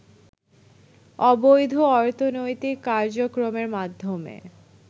অবৈধ অর্থনৈতিক কার্যক্রমের মাধ্যমে